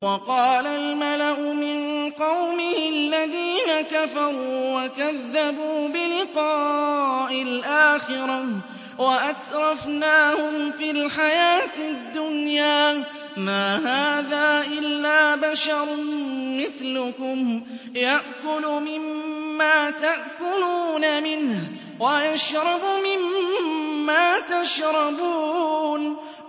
وَقَالَ الْمَلَأُ مِن قَوْمِهِ الَّذِينَ كَفَرُوا وَكَذَّبُوا بِلِقَاءِ الْآخِرَةِ وَأَتْرَفْنَاهُمْ فِي الْحَيَاةِ الدُّنْيَا مَا هَٰذَا إِلَّا بَشَرٌ مِّثْلُكُمْ يَأْكُلُ مِمَّا تَأْكُلُونَ مِنْهُ وَيَشْرَبُ مِمَّا تَشْرَبُونَ